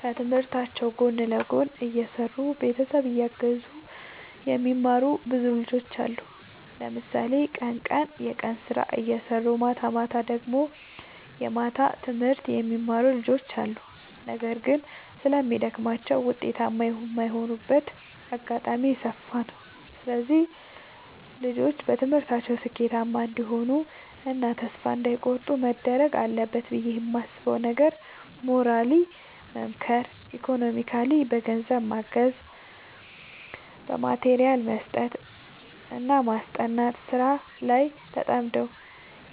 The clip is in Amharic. ከትምህርታቸው ጎን ለጎን እየሰሩ ቤተሰብ እያገዙ የሚማሩ ብዙ ልጆች አሉ። ለምሳሌ ቀን ቀን የቀን ስራ እየሰሩ ማታማታ ደግሞ የማታ ትምህርት የሚማሩ ልጆች አሉ። ነገር ግን ስለሚደግማቸው ውጤታማ የማይሆኑበት አጋጣሚ የሰፋ ነው። እነዚህ ልጆች በትምህርታቸው ስኬታማ እንዲሆኑ እና ተስፋ እንዳይ ቆርጡ መደረግ አለበት ብዬ የማስበው ነገር ሞራሊ መምከር ኢኮኖሚካሊ በገንዘብ ማገዝ በማቴሪያል መስጠትና ማስጠናት። ስራ ላይ ተጠምደው